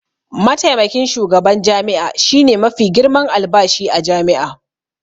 Mataimakin shugaban jami'a shine mafi girman albashi a jami'a.